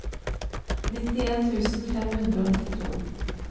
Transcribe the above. nittien tusen fem hundre og nittito